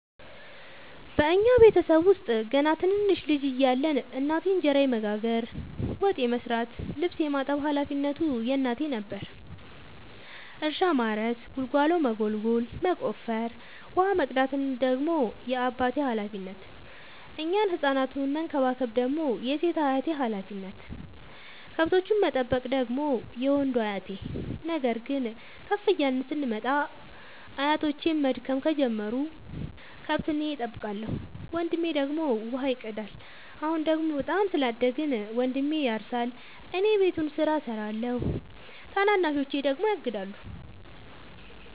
እኛ ቤተሰብ ውስጥ ገና ትንንሽ ልጅ እያለን እናቴ እንጀራ የመጋገር፤ ወጥ የመስራት ልብስ የማጠብ ሀላፊነቱ የእናቴ ነበረ። እርሻ ማረስ ጉልጎሎ መጎልጎል መቆፈር፣ ውሃ መቅዳት ደግሞ የአባቴ ሀላፊነት፤ እኛን ህፃናቱን መከባከብ ደግሞ የሴት አያቴ ሀላፊነት፣ ከብቶቹን መጠበቅ ደግሞ የወንዱ አያቴ። ነገር ግን ከፍ እያልን ስንመጣ አያቶቼም መድከም ጀመሩ ከብት እኔ ጠብቃለሁ። ወንድሜ ደግሞ ውሃ ይቀዳል። አሁን ደግሞ በጣም ስላደግን መንድሜ ያርሳ እኔ የቤቱን ስራ እሰራለሁ ታናናሾቼ ደግሞ ያግዳሉ።